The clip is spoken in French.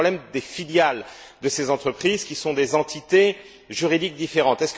C'est le problème des filiales de ces entreprises qui sont des entités juridiques différentes.